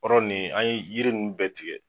Yɔrɔ nin, an ye yiri in bɛɛ tigɛ.